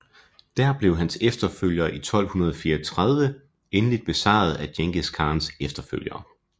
Dér blev hans efterfølgere i 1234 endeligt besejret af Djengis Khans efterfølgere